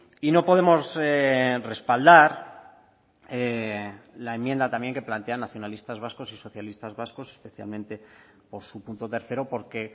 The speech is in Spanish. y no podemos respaldar la enmienda también que plantean nacionalistas vascos y socialistas vascos especialmente por su punto tercero porque